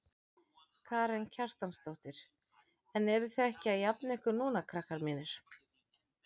Karen Kjartansdóttir: En eruð þið ekki að jafna ykkur núna krakkar mínir?